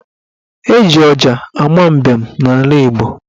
Eji ọja ama mbem n'ala Igbo.